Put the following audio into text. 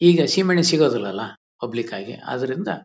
ಈಗ ಸೀಮೆಎಣ್ಣೆ ಸಿಗೋದಿಲ್ಲಾಲ್ಲಾ ಪಬ್ಲಿಕ್ ಆಗಿ ಆದ್ರಿಂದ--